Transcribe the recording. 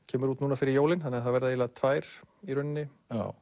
kemur út núna fyrir jólin þannig að það verða tvær í rauninni